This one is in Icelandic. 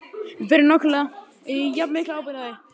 Við berum nákvæmlega jafn mikla ábyrgð á því.